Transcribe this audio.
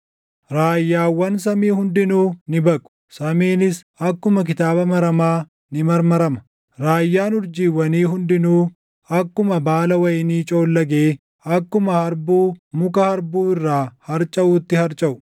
Raayyaawwan samii hundinuu ni baqu; samiinis akkuma kitaaba maramaa ni marmarama; raayyaan urjiiwwanii hundinuu akkuma baala wayinii coollagee, akkuma harbuu muka harbuu irraa harcaʼuutti harcaʼu.